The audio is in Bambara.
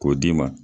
K'o d'i ma